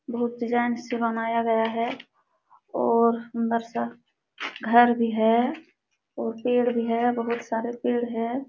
बहुत डिज़ाइन से बनाया गया है और घर भी है और पेड़ भी है। बहुत सारे पेड़ हैं।